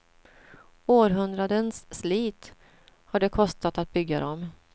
Århundradens slit har det kostat att bygga dem.